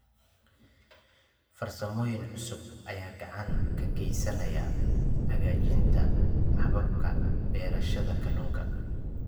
Farsamooyin cusub ayaa gacan ka geysanaya hagaajinta hababka beerashada kalluunka.